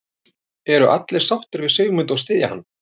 Eru allir sáttir við Sigmund og styðja hann?